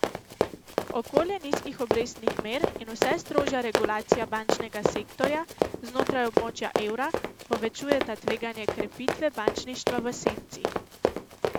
Okolje nizkih obrestnih mer in vse strožja regulacija bančnega sektorja znotraj območja evra povečujeta tveganje krepitve bančništva v senci.